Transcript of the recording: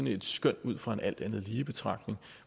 et skøn ud fra en alt andet lige betragtning